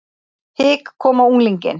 Hik kom á unglinginn.